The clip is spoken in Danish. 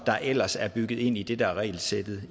der ellers er bygget ind i det der er regelsættet